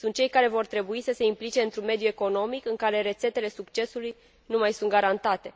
Sunt cei care vor trebui să se implice într un mediu economic în care rețetele succesului nu mai sunt garantate.